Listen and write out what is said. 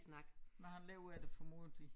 Men han lever af det formodentlig